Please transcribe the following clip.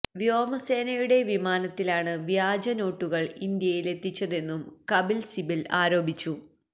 വ്യോമസേനയുടെ വിമാനത്തിലാണ് വ്യാജ നോട്ടുകള് ഇന്ത്യയിലെത്തിച്ചതെന്നും കപില് സിബല് ആരോപിച്ചു